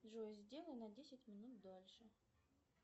джой сделай на десять минут дальше